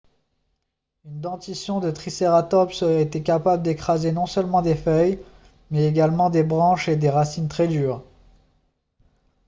une dentition de tricératops aurait été capable d'écraser non seulement des feuilles mais également des branches et des racines très dures